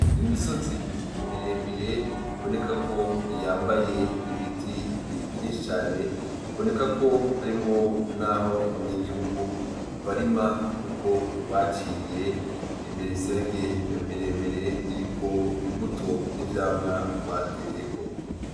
Imisozi miremire biboneka ko yambaye ibiti vyinshi cane biboneka ko harimwo n'aho abanyagihugu barima kuko baciye imiserege miremire iriko imbuto n'ivyamwa bateyeko.